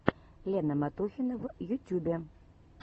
лена матухина в ютюбе